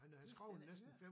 Det har jeg slet ikke hørt